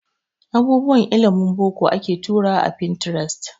Abubuwan ilimin boko ake turawa a Pinterest